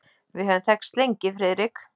Við höfum þekkst lengi, Friðrik.